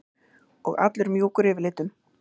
Og allur mjúkur yfirlitum.